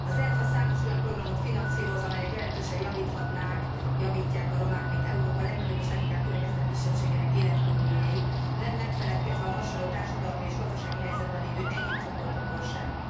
Az ERFA számos olyan programot finanszíroz, amelyek jelentősen javíthatnák, javítják a romák, mint Európa legnagyobb és leginkább kirekesztett kisebbségének életkörülményeit, nem megfeledkezve a hasonló társadalmi és gazdasági helyzetben lévő egyéb csoportokról sem.